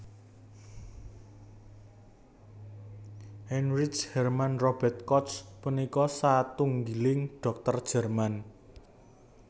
Heinrich Hermann Robert Koch punika satunggiling dhokter Jerman